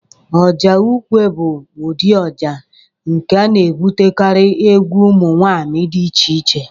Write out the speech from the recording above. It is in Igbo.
Ọjà ukwe bụ ụdị ọjà nke na-ebutekarị egwu ụmụ nwaanyị dị iche-iche.